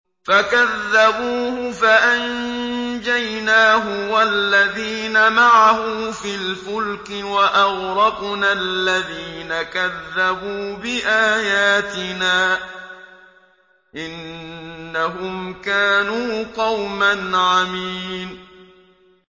فَكَذَّبُوهُ فَأَنجَيْنَاهُ وَالَّذِينَ مَعَهُ فِي الْفُلْكِ وَأَغْرَقْنَا الَّذِينَ كَذَّبُوا بِآيَاتِنَا ۚ إِنَّهُمْ كَانُوا قَوْمًا عَمِينَ